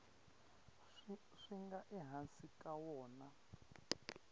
swi nga ehansi ka wona